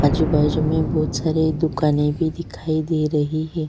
आजु बाजु में बहुत सारे दुकाने भी दिखाई दे रही है।